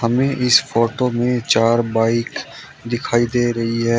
हमें इस फोटो में चार बाइक दिखाई दे रही है।